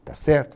Está certo?